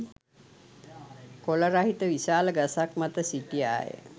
කොළ රහිත විශාල ගසක් මත සිටියාය.